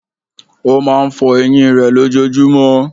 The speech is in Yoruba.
Ó máa n fo eyín rè lójojúmó